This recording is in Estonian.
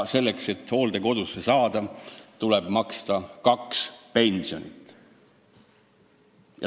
Selleks, et hooldekodus elada, tuleb maksta kaks pensioni.